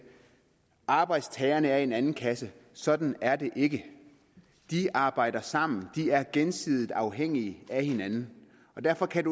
arbejdstagerne er i en anden kasse sådan er det ikke de arbejder sammen de er gensidigt afhængige af hinanden derfor kan